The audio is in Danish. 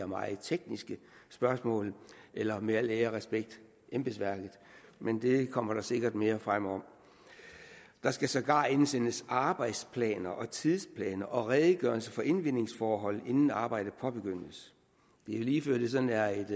meget tekniske spørgsmål eller med al ære og respekt embedsværket men det kommer der sikkert mere frem om der skal sågar indsendes arbejdsplaner og tidsplaner og redegørelser for indvindingsforhold inden arbejdet påbegyndes det er lige før det sådan er